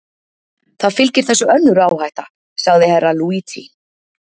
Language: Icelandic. Það fylgir þessu önnur áhætta, sagði Herra Luigi.